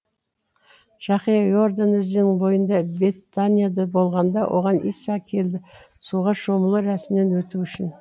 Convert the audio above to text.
жақия иордан өзенінің бойында бетанияда болғанда оған иса келді суға шомылу рәсімінен өту үшін